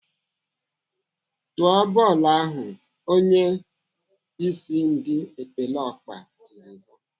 "Tụọ bọọlụ ahu!" Onyeisi ndị epeleọkpa tiri ha.